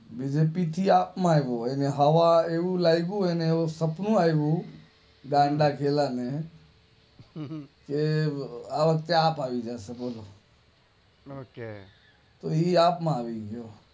BJP માંથી આપ માં આવો માં એવું લાગુ એને એવું સપ્પનું આઈવું ગાંડા ઘેલા ને આ વર્ષે આપ આવી જશે બોલો ઓકે એ આપ માં આવી ગયો